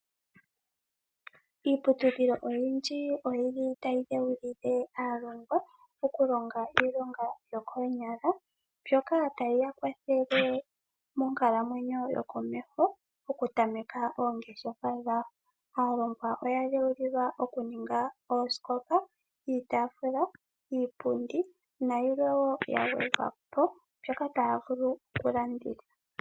Iiputudhilo oyindji otayi dheulile aailongi okulonga iilonga yokoonyala mbyoka tayi ya kwathele monakuyiwa, oku tameka oongeshefa dhawo. Aailongi oya dheulilwa okuninga oosikopa, iitaafula, iipundi nayilwe wo ya gwedhwa po mbyoka taya vulu oku landitha.